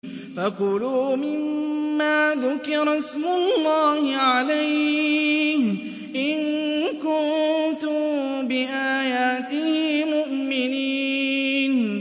فَكُلُوا مِمَّا ذُكِرَ اسْمُ اللَّهِ عَلَيْهِ إِن كُنتُم بِآيَاتِهِ مُؤْمِنِينَ